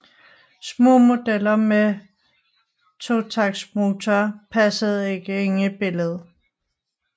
Små modeller med totaktsmotorer passede ikke ind i billedet